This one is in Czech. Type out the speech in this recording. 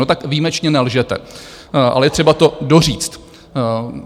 No tak výjimečně nelžete, ale je třeba to doříct.